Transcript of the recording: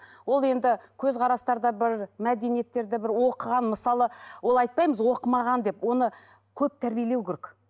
ол енді көзқарастары да бір мәдениеттері де бір оқыған мысалы ол айтпаймыз оқымаған деп оны көп тәрбиелеу керек